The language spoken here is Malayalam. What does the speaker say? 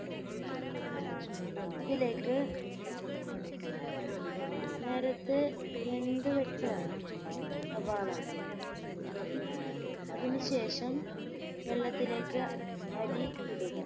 അതിലേക്ക് നേരെത്തെ വെന്ത് വെച്ച സവാള അതിനു ശേഷം വെള്ളത്തിലേക്ക് അരി ഇടുക